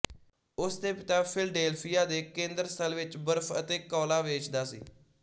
ਉਸਦੇ ਪਿਤਾ ਫਿਲਡੇਲਫੀਆ ਦੇ ਕੇਂਦਰਸਥਲ ਵਿੱਚ ਬਰਫ਼ ਅਤੇ ਕੌਲਾ ਵੇਚਦਾ ਸੀ